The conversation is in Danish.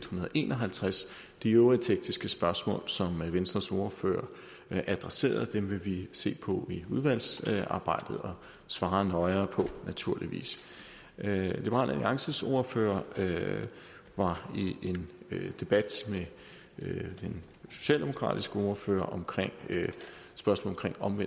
hundrede og en og halvtreds de øvrige tekniske spørgsmål som venstres ordfører adresserede vil vi se på i udvalgsarbejdet og svare nøjere på naturligvis liberal alliances ordfører var i en debat med den socialdemokratiske ordfører om spørgsmålet om